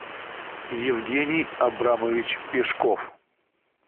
евгений абрамович пешков